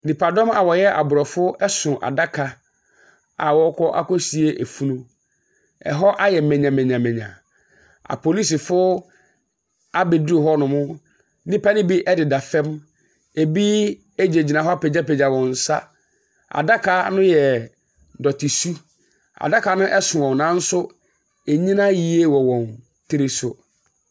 Nnipadɔm a wɔyɛ aborɔfo so adaka a wɔrekɔ akɔsie funu. Ɛhɔ ayɛ manyamanyamanya. Apolisifoɔ abɛduru hɔnom. Nnipa no bi deda fam, ebi gyinagyina hɔ apagyapagya wɔn nsa. Adaka no yɛ dɔtesu. Adaka no so wɔn nanso ɛnnyina yie wɔ wɔn tiri so.